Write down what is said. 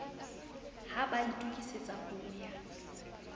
ha ba itokisetsa ho ya